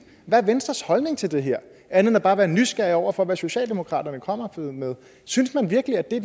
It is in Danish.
hvad er venstres holdning til det her andet end bare at være nysgerrig over for hvad socialdemokratiet kommer med synes man virkelig at det er